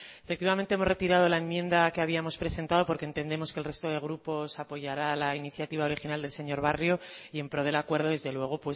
efectivamente hemos retirado la enmienda que habíamos presentado porque entendemos que el resto de grupos apoyará la iniciativa original del señor barrio y en pro del acuerdo desde luego